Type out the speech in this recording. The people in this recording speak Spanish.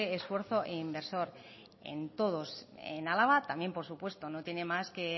esfuerzo inversor en todos en álava también por supuesto no tiene más que